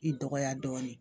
I dɔgɔya dɔɔnin